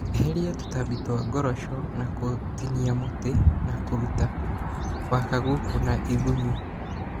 Ehĩria tũtambi twa ngoroco na gũtinia mũtĩ na kũruta wakagũkũ na igũnyo